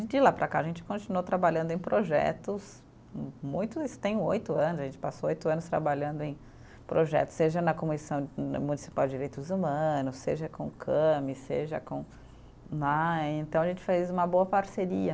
E de lá para cá a gente continuou trabalhando em projetos muito, isso tem oito anos, a gente passou oito anos trabalhando em projetos, seja na Comissão Municipal de Direitos Humanos, seja com o Came, seja com Então a gente fez uma boa parceria.